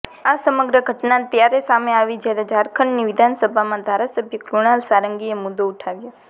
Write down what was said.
આ સમગ્ર ઘટના ત્યારે સામે આવી જ્યારે ઝારખંડની વિધાનસભામાં ધારાસભ્ય કૃણાલ સારંગીએ મુદ્દો ઉઠાવ્યો